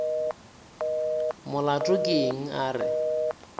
molato ke eng a re